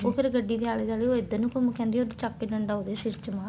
ਉਹ ਫ਼ਿਰ ਗੱਡੀ ਦੇ ਆਲੇ ਦੁਆਲੇ ਉਹ ਇੱਧਰ ਨੂੰ ਘੁੰਮ ਕੇ ਆਂਦੀ ਏ ਉਹਦੇ ਚੱਕ ਕੇ ਡੰਡਾ ਉਹਦੇ ਸਿਰ ਚ